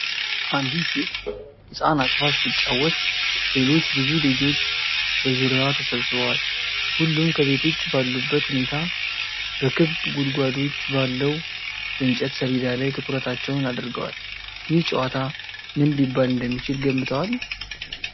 አንዲት ሴት ሕፃን አቅፋ ስትጫወት፣ ሌሎች ብዙ ልጆች በዙሪያዋ ተሰብስበዋል። ሁሉም ከቤት ውጭ ባሉበት ሁኔታ በክብ ጉድጓዶች ባለው የእንጨት ሰሌዳ ላይ ትኩረታቸውን አድርገዋል። ይህ ጨዋታ ምን ሊባል እንደሚችል ገምተዋል?